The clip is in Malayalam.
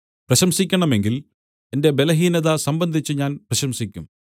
പ്രശംസിക്കണമെങ്കിൽ എന്റെ ബലഹീനത സംബന്ധിച്ച് ഞാൻ പ്രശംസിക്കും